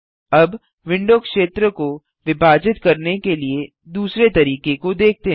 अब विंडो क्षेत्र को विभाजित करने के लिए दूसरे तरीके को देखते हैं